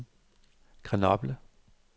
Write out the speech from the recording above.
Grenoble